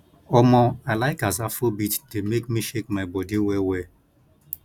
omo i like as afrobeat dey make me shake my body well well